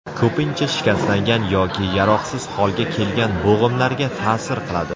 Ko‘pincha shikastlangan yoki yaroqsiz holga kelgan bo‘g‘imlarga ta’sir qiladi.